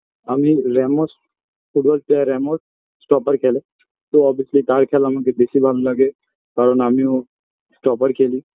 আমি Ramos football player Ramos stopper খেলে তো obviously তার খেলা আমাকে বেশি ভালো লাগে কারণ আমিও stopper খেলি